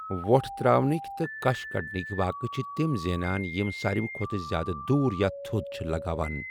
وۄٹھ ترٛاوٕنٕک تہٕ کَش کَڑنٕک واقعہٕ چھِ تِم زینان یِم ساروِی کھۄتہٕ زِیٛادٕ دوٗر یا تَھود چھِ لگاوان۔